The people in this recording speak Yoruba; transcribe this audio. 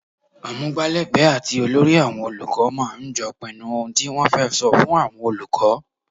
Amugbalegbe àti olórí àwọn olùkọ́ máa ń jọ́ pinnu ohun tí wọ́n fẹ́ sọ fún àwọn olùkọ́.